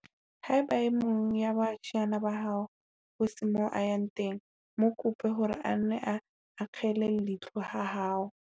Haeba e mong wa baahisane ba hao ho se moo a yang teng, mo kope hore a nne a akgele leihlo ha hao.